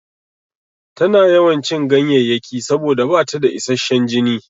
Tana yawan cin ganyayyaki saboda bata da isashshan jini.